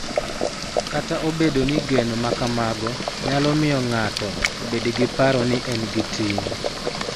Kata obedo ni geno ma kamago nyalo miyo ng�ato obed gi paro ni en gi ting�,